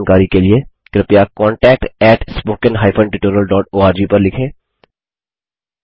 अधिक जानकारी के लिए कृपया contact at spoken hyphen tutorial dot ORG पर लिखें